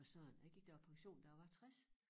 For søren jeg gik da på pension da jeg var 60